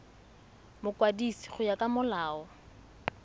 mokwadisi go ya ka molao